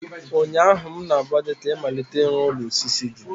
ụnyaahụ m na-agwa gị ka ị malite ịrụ ụlọ osisi gị!